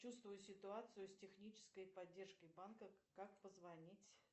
чувствую ситуацию с технической поддержкой банка как позвонить